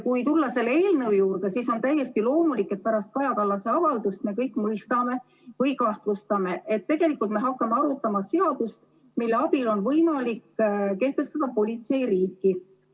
Kui tulla selle eelnõu juurde, siis on täiesti loomulik, et pärast Kaja Kallase avaldust me kõik mõistame või kahtlustame, et tegelikult me hakkame arutama seadust, mille abil on võimalik kehtestada politseiriiki.